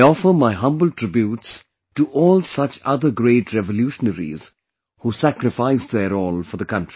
I offer my humble tributes to all such other great revolutionaries who sacrificed their all for the country